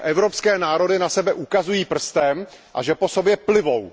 Že evropské národy na sebe ukazují prstem a že po sobě plivou.